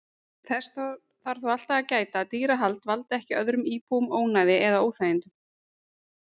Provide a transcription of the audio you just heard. Þess þarf þó alltaf að gæta að dýrahald valdi ekki öðrum íbúum ónæði eða óþægindum.